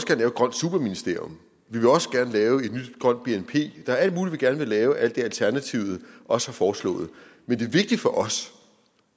grønt superministerium vi vil også gerne lave et nyt grønt bnp der er alt muligt vi gerne vil lave alt det alternativet også har foreslået men det vigtige for os